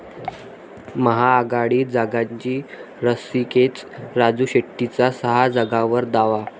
महाआघाडीत जागांची रस्सीखेच, राजू शेट्टींचा सहा जागांवर दावा